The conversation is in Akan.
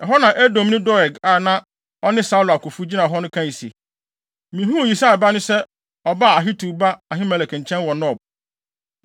Ɛhɔ na Edomni Doeg a na ɔne Saulo akofo gyina hɔ no kae se, “Mihuu Yisai ba no sɛ ɔbae Ahitub ba Ahimelek nkyɛn wɔ Nob.